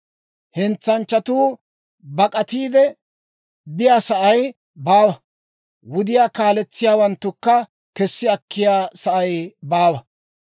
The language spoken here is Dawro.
Hentsanchchatuu bak'atiide biyaasa'ay baawa; wudiyaa kaaletsiyaawanttukka kessi akkiyaa sa'ay baawa.